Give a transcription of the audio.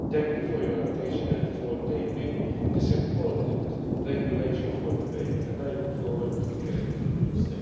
Thank you for your attention and for tabling this important regulation for debate, and I look forward to hearing your views.